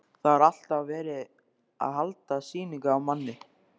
Það var alltaf verið að halda sýningu á manni.